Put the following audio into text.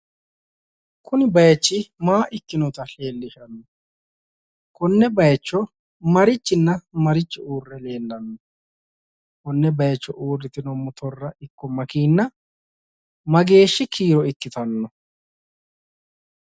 Kuni bayichi maa ikkinota leellishanno? Konne bayicho marichinna marichi uurre leellano? Konne bayicho uurritinoti makeenna woyi motorra mageeshshi kiiro ikkitanno?